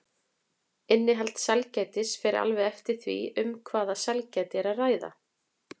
Innihald sælgætis fer alveg eftir því um hvaða sælgæti er að ræða.